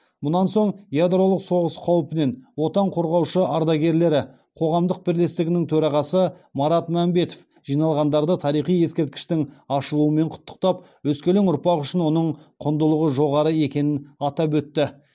мұнан соң ядролық соғыс қаупінен отан қорғаушы ардагерлері қоғамдық бірлестігінің төрағасы марат мәмбетов жиналғандарды тарихи ескерткіштің ашылуымен құттықтап өскелең ұрпақ үшін оның құндылығы жоғары екенін атап өтті